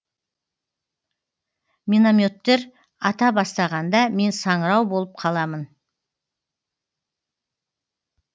минометтер ата бастағанда мен саңырау болып қаламын